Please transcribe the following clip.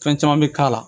Fɛn caman bɛ k'a la